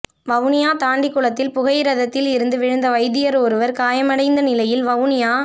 வவுனியா தாண்டிக்குளத்தில் புகையிரதத்தில் இருந்து வீழ்ந்த வைத்தியர் ஒருவர் காயமடைந்த நிலையில் வவுனியா